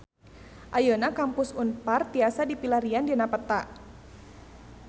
Ayeuna Kampus Unpar tiasa dipilarian dina peta